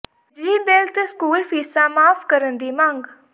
ਬਿਜਲੀ ਬਿੱਲ ਤੇ ਸਕੂਲ ਫੀਸਾਂ ਮਾਫ਼ ਕਰਨ ਦੀ ਮੰਗ